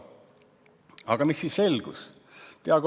Aga mis siis selgus?